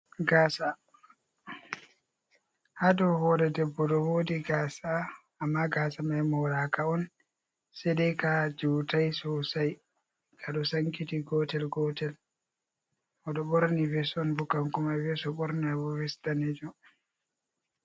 Gasa, hadow hore debbo ɗo wodi Gasa, amma gasa mai moraka on, sedai ka jutai sosai, kaɗo sankiti gotel gotel, oɗo ɓorni ves on, bo kan komai. Ves o ɓorni mai ves danejum.